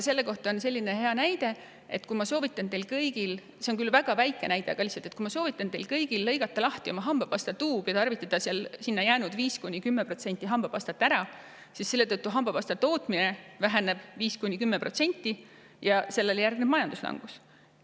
Selle kohta on selline hea näide tuua – see on küll väga väike näide –, et kui ma soovitan teil kõigil lõigata lahti oma hambapasta tuub ja tarvitada sinna alles jäänud 5–10% hambapastat ära, siis väheneb selle tõttu hambapasta tootmine samuti 5–10% protsenti ja sellele järgneb majanduslangus.